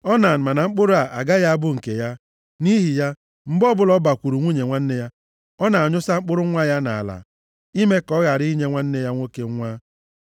Onan ma na mkpụrụ a agaghị abụ nke ya. Nʼihi ya, mgbe ọbụla ọ bakwuru nwunye nwanne ya, ọ na-anyụsa mkpụrụ nwa ya nʼala, ime ka ọ ghara inye nwanne ya nwoke nwa.